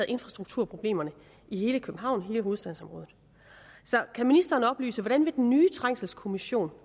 infrastrukturproblemerne i hele københavn i hele hovedstadsområdet så kan ministeren oplyse hvordan den nye trængselskommission